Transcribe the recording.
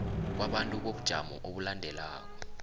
kwabantu bobujamo obulandelako